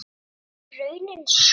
En er raunin sú?